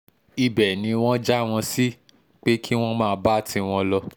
um ibẹ̀ ni wọ́n já wọn sí um pé kí wọ́n máa bá tiwọn lọ